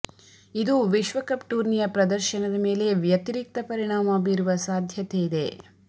ಇದು ವಿಶ್ವಕಪ್ ಟೂರ್ನಿಯ ಪ್ರದರ್ಶನದ ಮೇಲೆ ವ್ಯತಿರಿಕ್ತ ಪರಿಣಾಮ ಬೀರುವ ಸಾಧ್ಯತೆ ಇದೆ